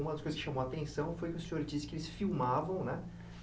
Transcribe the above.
Uma das coisas que chamou a atenção foi que o senhor disse que eles filmavam, né?